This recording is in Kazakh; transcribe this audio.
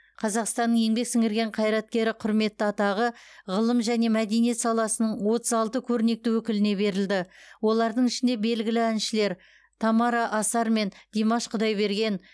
қазақстанның еңбек сіңірген қайраткері құрметті атағы ғылым және мәдениет саласының отыз алты көрнекті өкіліне берілді олардың ішінде белгілі әншілер тамара асар мен димаш құдайберген